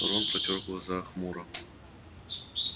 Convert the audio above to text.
рон протёр глаза хмуро